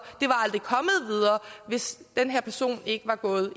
hvis den her person ikke var gået